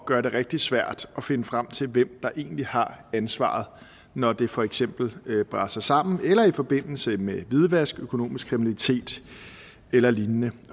gøre det rigtig svært at finde frem til hvem der egentlig har ansvaret når det for eksempel braser sammen eller i forbindelse med hvidvask økonomisk kriminalitet eller lignende